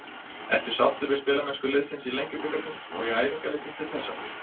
Ertu sáttur við spilamennsku liðsins í Lengjubikarnum og í æfingaleikjum til þessa?